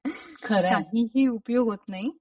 खरय काहीही उपयोग होत नाही.